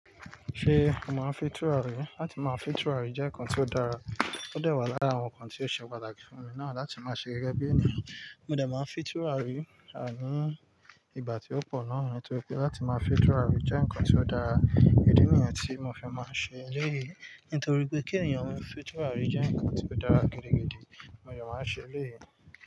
Ṣé mo màá fi tùràrí? Làti máa fi tùràrí jẹ́ nǹkan tí ó dára, ó dẹ̀ wà lára àwọn nǹkan tí ó ṣe pàtàkì fún mi náà. Làti máa ṣe gẹ́gẹ́ bí ènìyàn, mo dẹ̀ máa ń fi tùràrí a ní ìgbà tí ó pọ̀ náà nítorí pé láti máa fi tùràrí jẹ́ nǹkan tí ó dára, idí ni yen tí mo fi máa ń ṣe lẹ́yì. Nítorí pé kí ènìyàn maa fi tùràrí jẹ́ nǹkan tí ó dára gidigidi, mo de máa ń ṣe lẹ́yìn.